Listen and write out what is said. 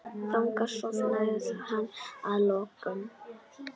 Þannig sofnaði hann að lokum.